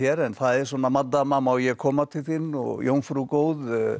en það er maddama má ég koma til þín og jómfrú góð